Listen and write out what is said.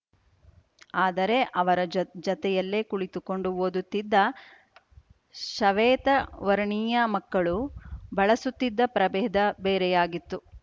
ಆದರೆ ಅವರ ಜ ಜತೆಯಲ್ಲಿ ಕುಳಿತುಕೊಂಡು ಓದುತ್ತಿದ್ದ ಶವೇತವರ್ಣೀಯ ಮಕ್ಕಳು ಬಳಸುತ್ತಿದ್ದ ಪ್ರಭೇದ ಬೇರೆಯಾಗಿತ್ತು